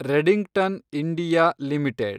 Redington India limited